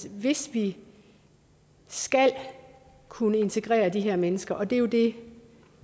at hvis vi skal kunne integrere de her mennesker og det er jo det